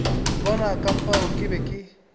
bona ka fao ke be